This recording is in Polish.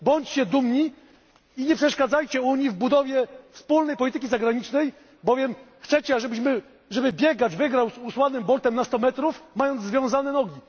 Bądźcie dumni i nie przeszkadzajcie Unii w budowie wspólnej polityki zagranicznej, bowiem chcecie, żeby biegacz wygrał z Usainem Boltem na 100 metrów mając związane nogi.